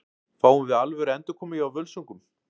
Fáum við alvöru endurkomu hjá Völsungum?